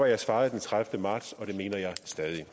jeg svarede den tredivete marts og det mener jeg stadig